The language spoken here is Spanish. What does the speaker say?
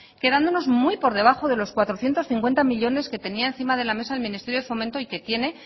quedándonos muy por debajo de los cuatrocientos cincuenta millónes que tenía encima de la mesa el ministerio de fomento y que tiene